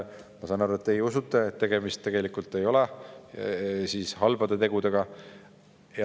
Ma saan aru, et teie usute, et tegemist ei ole halbade tegudega.